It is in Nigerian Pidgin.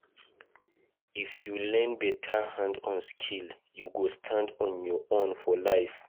If you learn beta hand-on skill, you go stand on your own for life.